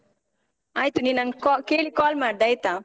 ಆಯ್ತ್ ನೀನ್ ನಂಗ್ ಕಾ, ಕೇಳಿ call ಮಾಡ್ದೆ ಆಯ್ತಾ?